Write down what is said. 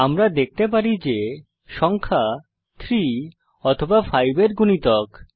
আমরা দেখতে পারি যে সংখ্যা 3 অথবা 5 এর গুণিতক